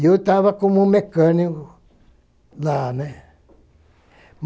e eu estava como mecânico lá, né.